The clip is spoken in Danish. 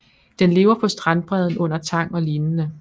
Den lever på strandbredden under tang og lignende